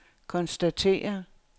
konstatere